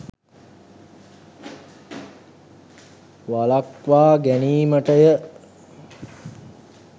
වළක්වා ගැනීමටය.